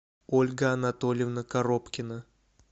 ольга анатольевна коробкина